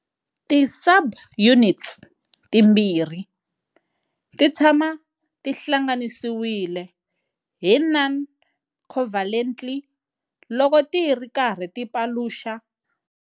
Ti subunits timbirhi titshama tihlanganisiwile hi noncovalently loko tiri karhi ti paluxa.